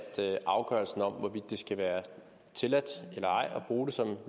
afgørelsen om hvorvidt det skal være tilladt eller ej at bruge det som